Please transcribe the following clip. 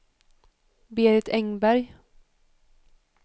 Berit Engberg